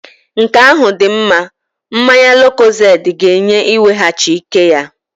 Nke ahụ dị mma. Mmanya lukozedi ga-enye iweghachi ike ya.